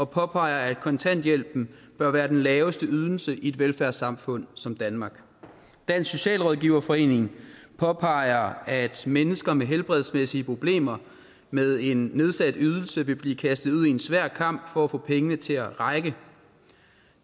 påpeger at kontanthjælpen bør være den laveste ydelse i et velfærdssamfund som danmark dansk socialrådgiverforening påpeger at mennesker med helbredsmæssige problemer med en nedsat ydelse vil blive kastet ud i en svær kamp for at få pengene til at række